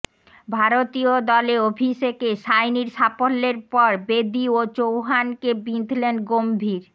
ভারতীয় দলে অভিষেকে সাইনির সাফল্যের পর বেদী ও চৌহানকে বিঁধলেন গম্ভীর